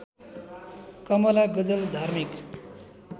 कमला गजल धार्मिक